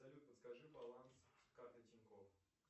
салют подскажи баланс карты тинькофф